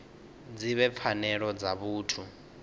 dzi vhe pfanelo dza vhuthu